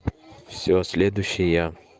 все следующий я